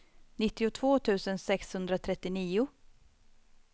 nittiotvå tusen sexhundratrettionio